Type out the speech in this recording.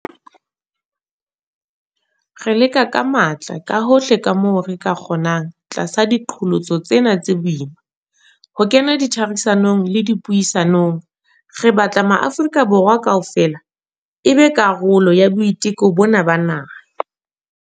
Re leka ka matla kahohle kamoo re ka kgonang tlasa diqholotso tsena tse boima, ho kena ditherisanong le dipuisanong. Re batla hore Maafrika Borwa kaofela e be karolo ya boiteko bona ba naha.